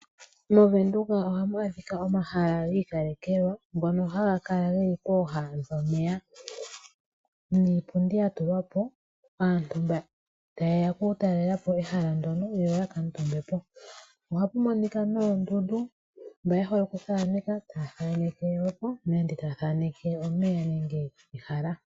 Movenduka ohamu adhika omahala giikalekelwa ngono haga kala geli pooha dhomeya niipundi yatulwa po kaantu mba ta yeya okutalelapo ehala ndono yo yaka tuumbepo. Ohapu monika noondundu naamba yehole okuthaneka taya thaneke ehala nenge omeya.